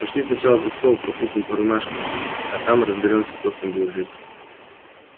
пошли сначала за стол пропустим по рюмашке а там и разберёмся кто с кем будет жить